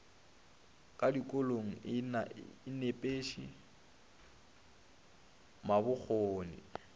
ka dikolong e nepiše mabokgone